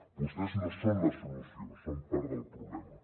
vostès no són la solució són part del problema